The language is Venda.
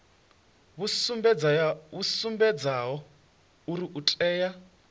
vhu sumbedzaho uri o tea